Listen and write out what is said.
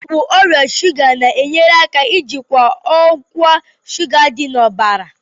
Ọgwụ ọrịa shuga na-enyere aka ijikwa ọkwa shuga dị n'ọbara.